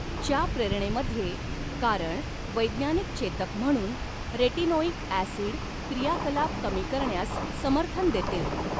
च्या प्रेरणेमध्ये कारण वैज्ञानिक चेतक म्हणून रेटिनोइक ॲसिड क्रियाकलाप कमी करण्यास समर्थन देते.